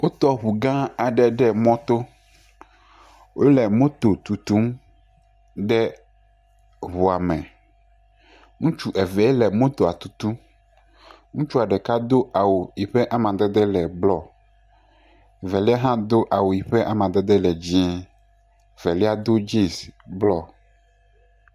Wotɔ ŋu gã aɖe ɖe mɔto, wole moto tutum de ŋua me, ŋutsu eve le motoa tutum, ŋutsua ɖeka do awu yi ƒe amadede le blɔ velia hã do dzinz blɔ.